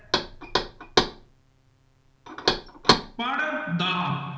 ਪੜ੍ਹ ਦਾ।